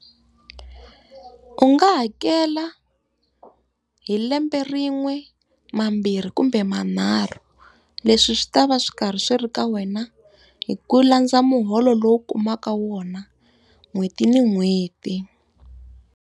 U nga hakela hi lembe rin'we, mambirhi, kumbe manharhu. Leswi swi ta va swi karhi swi ri ka wena, hi ku landza muholo lowu u kumaka wona n'hweti na n'hweti.